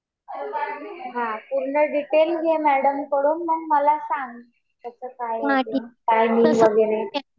हा. पूर्ण डिटेल घे मॅडमकडून. मग मला सांग. कस काय काय नाही वगैरे.